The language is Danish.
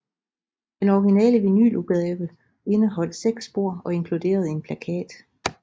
Den originale vinyludgave indeholdt seks spor og inkluderede en plakat